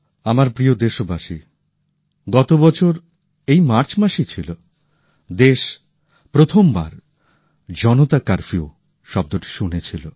আমার প্রিয় দেশবাসী গতবছর এই মার্চ মাসই ছিল দেশ প্রথমবার জনতা কারফিউ শব্দটি শুনেছিল